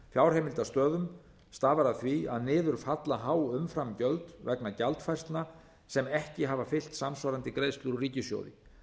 fjárheimildastöðum stafar af því að niður falla há umframgjöld vegna gjaldfærslna sem ekki hafa fylgt samsvarandi greiðslur úr ríkissjóði